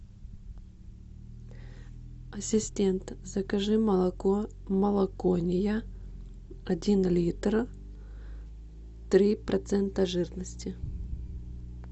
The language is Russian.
ассистент закажи молоко молокония один литр три процента жирности